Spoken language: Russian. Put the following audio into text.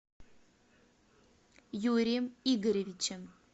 юрием игоревичем